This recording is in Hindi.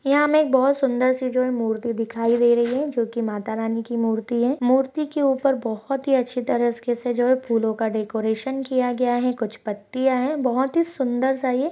यह हमे बहुत सुन्दर सी जो है मूर्ति दिखाई दे रही है जो की माता रानी की मूर्ति है मूर्ति के ऊपर बहुत अच्छी तरह से जो है फूलो का डेकोरेशन किया गया है कुछ पत्तिया है बहुत ही सुन्दर सा ये--